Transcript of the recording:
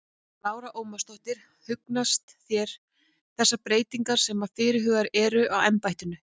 Lára Ómarsdóttir: Hugnast þér þessar breytingar sem að fyrirhugaðar eru á embættinu?